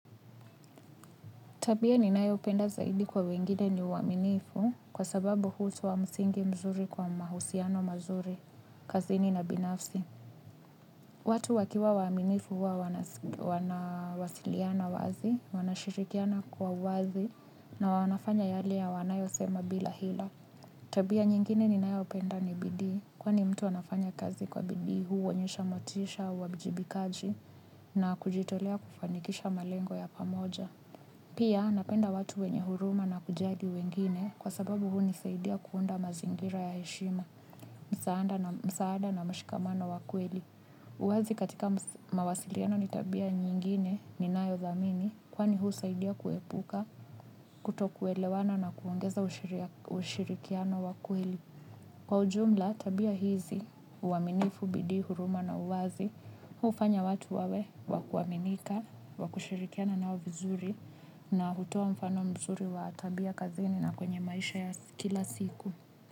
Tabia ninayopenda zaidi kwa wengine ni uaminifu kwa sababu hutoa msingi mzuri kwa mahusiano mazuri, kazi nina binafsi. Watu wakiwa waaminifu huwa wanawasiliana wazi wanashirikiana kwa wazi na wanafanya yale wanayosema bila hila. Tabia nyingine ninayopenda ni bidii kwani mtu anafanya kazi kwa bidii huonyesha motisha, wajibikaji na kujitolea kufanikisha malengo ya pamoja. Pia napenda watu wenye huruma na kujali wengine kwa sababu hunisaidia kuunda mazingira ya heshima, msaada na mshikamano wa kweli. Uwazi katika mawasiliano ni tabia nyingine ninayodhamini kwani husaidia kuepuka kutokuelewana na kuongeza ushirikiano wa kweli. Kwa ujumla, tabia hizi, uaminifu, bidip, huruma na uwazi, hufanya watu wawe, wakuaminika, wakushirikiana nao vizuri, na hutoa mfano mzuri wa tabia kazini na kwenye maisha ya kila siku.